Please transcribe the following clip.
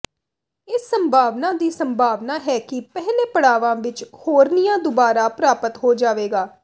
ਇਸ ਸੰਭਾਵਨਾ ਦੀ ਸੰਭਾਵਨਾ ਹੈ ਕਿ ਪਹਿਲੇ ਪੜਾਵਾਂ ਵਿਚ ਹੌਰਨੀਆ ਦੁਬਾਰਾ ਪ੍ਰਾਪਤ ਹੋ ਜਾਵੇਗਾ